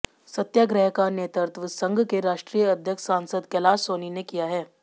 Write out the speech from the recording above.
सत्याग्रह का नेतृत्व संघ के राष्ट्रीय अध्यक्ष सांसद कैलाश सोनी ने किया